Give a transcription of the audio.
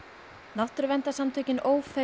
náttúruverndarsamtökin Ófeig